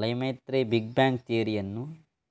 Lemaitre big bang ಥಿಯರಿಯನ್ನು